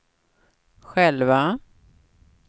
själva